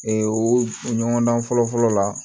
o ɲɔgɔndan fɔlɔ-fɔlɔ la